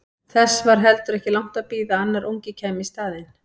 Þess var heldur ekki langt að bíða að annar ungi kæmi í staðinn.